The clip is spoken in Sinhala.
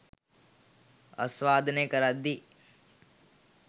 ආස්වාදනය කරද්දී